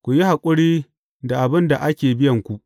Ku yi haƙuri da abin da ake biyanku.